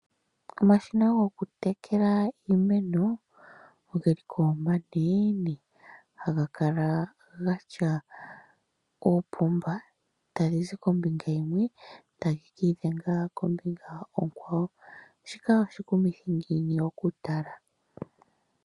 Omashina goku tekela iimeno ogeliko omanene haga kala gatya oopomba tadhizi kombinga yimwe tadhi ka idhenga kombinga onkwawo. Shoka oshikumithi ngiini okutala?